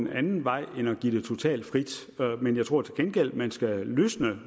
en anden vej end at give det totalt frit men jeg tror til gengæld man skal løsne